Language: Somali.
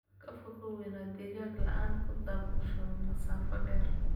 Ka fogow inaad digaag la'aan ku daabusho masaafo dheer.